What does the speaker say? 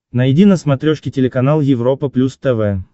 найди на смотрешке телеканал европа плюс тв